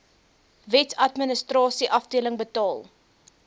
wetsadministrasie afdeling betaal